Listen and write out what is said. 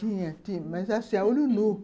Tinha, tinha, mas assim, a olho nu.